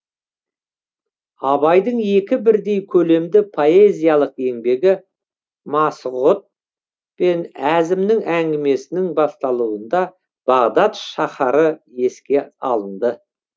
абайдың екі бірдей көлемді поэзиялық еңбегі масғұт пен әзімнің әңгімесінің басталуында бағдат шаһары еске алынды